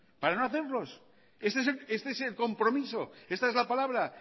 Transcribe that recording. para no hacerlos este es el compromiso esta es la palabra